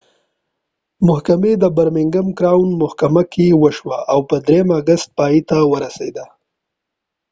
محکمې د برمینګم کراؤن محکمه کې وشوه او په ۳ اګست پای ته ورسیده